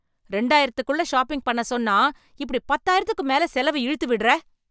இரண்டாயிரத்துக்குள்ள shopping பண்ண சொன்னா இப்படி பத்தாயிரத்துக்கும் மேல செலவ இழுத்து விடுற.